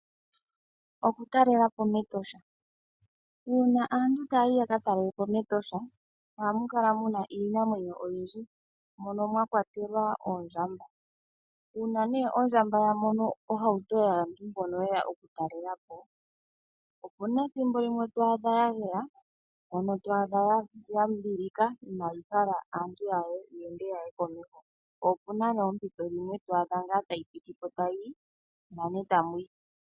Oku talelapo mEtosha uuna antu taya yi yaka talelapo mEtosha, ohamu kala muna iinamwenyo oyindji, moka mwa kwatelwa oondjamba, uuna ne ondjamba ya mono ohauto yaantu mboka yeya oku talelapo, opuna ethimbo limwe twaadha ya geya, ya, mono twaa dha ya limbililika ,inayi hala aantu ya ende yaye komeho, po opuna poompiti dhimwe twaadha tayi pitike ta yiyi nane tamuyi.